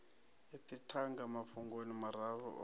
ipfi thanga mafhungoni mararu o